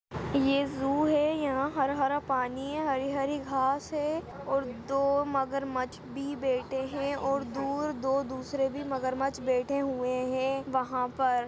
ये ज़ू है यहाँ हरा-हरा पानी है हरी-हरी घास है और दो मगरमच्छ भी बैठे है और दूर दो दूसरे भी मगरमच्छ बैठे हुए हैं वहाँ पर।